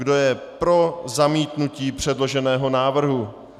Kdo je pro zamítnutí předloženého návrhu?